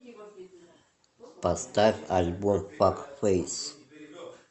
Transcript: поставь альбом фак фэйс